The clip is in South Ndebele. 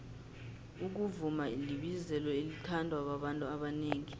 ukuvuma libizelo elithandwa babantu abanengi